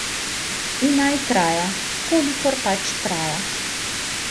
In naj traja, kolikor pač traja.